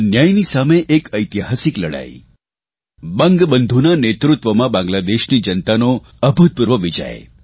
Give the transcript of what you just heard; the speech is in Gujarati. અન્યાયની સામે એક ઐતિહાસિક લડાઇ બંગબંધુના નેતૃત્વમાં બાંગ્લાદેશની જનતાનો અભૂતપૂર્વ વિજય